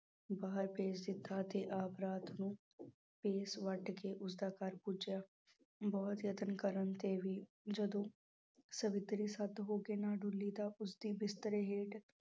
ਬਾਹਰ ਭੇਜ ਦਿੱਤਾ ਅਤੇ ਆਪ ਰਾਤ ਨੂੰ ਭੇਸ਼ ਵੱਟ ਕੇ ਉਸਦਾ ਘਰ ਪੁੱਜਿਆ, ਬਹੁਤ ਯਤਨ ਕਰਨ ਤੇ ਵੀ ਜਦੋਂ ਸਵਿਤਰੀ ਸਤ ਹੋ ਕੇ ਨਾ ਡੋਲੀ ਤਾਂ ਉਸਦੇ ਬਿਸਤਰੇ ਹੇਠ